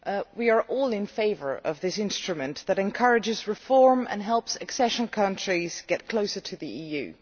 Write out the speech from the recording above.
We are all in favour of this instrument that encourages reform and helps accession countries get closer to the EU.